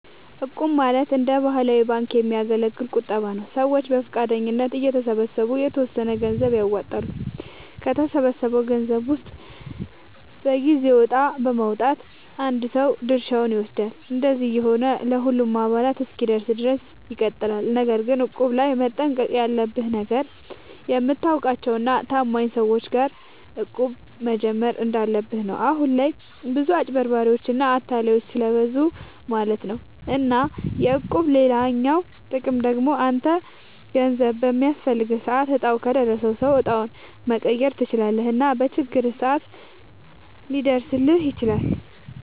እቁብ ማለት እንደ ባህላዊ ባንክ የሚያገለግል ቁጠባ ነዉ። ሰዎች በፈቃደኝነት እየተሰባሰቡ የተወሰነ ገንዘብ ያዋጣሉ፣ ከተሰበሰበው ገንዘብ ውስጥ በየጊዜው እጣ በማዉጣት አንድ ሰው ድርሻውን ይወስዳል። እንደዚህ እየሆነ ለሁሉም አባላት እስኪደርስ ድረስ ይቀጥላል። ነገር ግን እቁብ ላይ መጠንቀቅ ያለብህ ነገር፣ የምታውቃቸው እና ታማኝ ሰዎች ጋር እቁብ መጀመር እንዳለብህ ነው። አሁን ላይ ብዙ አጭበርባሪዎች እና አታላዮች ስለብዙ ማለት ነው። እና የእቁብ ሌላኛው ጥቅም ደግሞ አንተ ገንዘብ በሚያስፈልግህ ሰዓት እጣው ከደረሰው ሰው እጣውን መቀየር ትችላለህ እና በችግርህም ሰዓት ሊደርስልህ ይችላል።